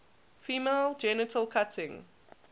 female genital cutting